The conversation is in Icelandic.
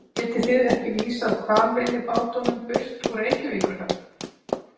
Getið þið ekki vísað hvalveiðibátunum burt úr Reykjavíkurhöfn?